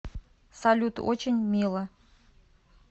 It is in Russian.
салют очень мило